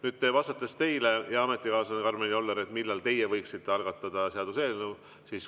Nüüd vastan teile, hea ametikaaslane Karmen Joller, millal teie võiksite algatada seaduseelnõu.